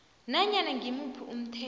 nanyana ngimuphi umthetho